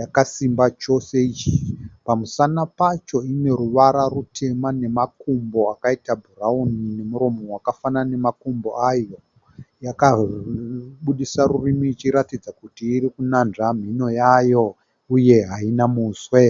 yakasimba chose. Pamusana pacho ine ruvara rutema nemakumbo akaita bhurawuni nemuromo wakafanana nemakumbo ayo. Yakabudisa rurimi ichiratidza kuti iri kunanzva mhino yayo uye haina muswe.